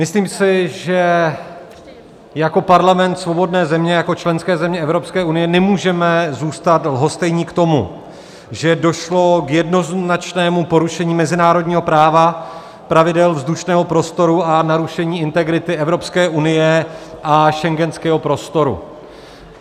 Myslím si, že jako Parlament svobodné země, jako členské země Evropské unie nemůžeme zůstat lhostejní k tomu, že došlo k jednoznačnému porušení mezinárodního práva, pravidel vzdušného prostoru a narušení integrity Evropské unie a schengenského prostoru.